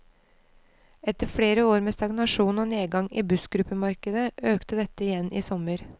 Etter flere år med stagnasjon og nedgang i bussgruppemarkedet, økte dette igjen i sommer.